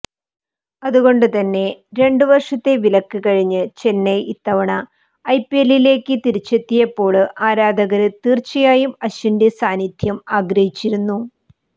അതുകൊണ്ടുതന്നെ രണ്ടു വര്ഷത്തെ വിലക്ക് കഴിഞ്ഞ് ചെന്നൈ ഇത്തവണ ഐപിഎല്ലിലേക്ക് തിരിച്ചെത്തിയപ്പോള് ആരാധകര് തീര്ച്ചയായും അശ്വിന്റെ സാന്നിധ്യം ആഗ്രഹിച്ചിരുന്നു